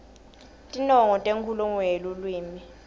tinongo tenkhulumo yeluwimi